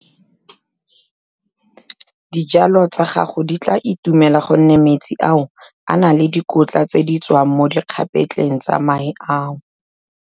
Dijalo tsa gago di tla itumela gonne metsi ao a na le dikotla tse di tswang mo dikgapetleng tsa mae ao.